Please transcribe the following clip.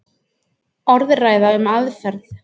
Orðræða um aðferð.